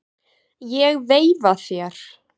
Ég veifa þér.